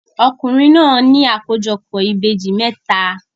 Ọkùnrin náà ní àkójọpọ̀ ìbejì mẹ́ta.